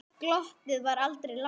Glottið var aldrei langt undan.